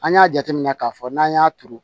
An y'a jateminɛ k'a fɔ n'an y'a turu